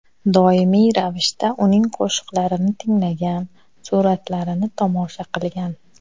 Doimiy ravishda uning qo‘shiqlarini tinglagan, suratlarini tomosha qilgan.